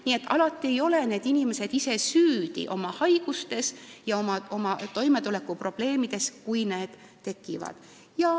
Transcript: Nii et alati ei ole inimesed oma haigustes ja toimetulekuprobleemides ise süüdi.